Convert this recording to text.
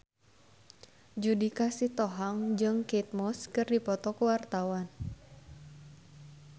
Judika Sitohang jeung Kate Moss keur dipoto ku wartawan